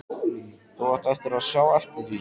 Þú átt eftir að sjá eftir því!